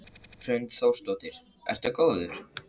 Hrund Þórsdóttir: Ertu góður?